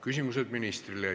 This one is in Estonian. Küsimused ministrile.